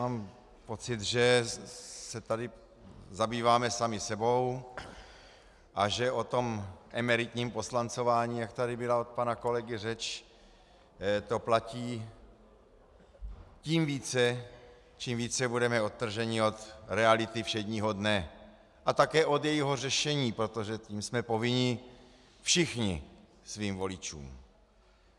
Mám pocit, že se tady zabýváme sami sebou a že o tom emeritním poslancování, jak tady byla od pana kolegy řeč, to platí tím více, čím více budeme odtrženi od reality všedního dne a také od jejího řešení, protože tím jsme povinni všichni svým voličům.